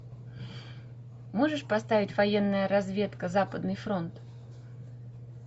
можешь поставить военная разведка западный фронт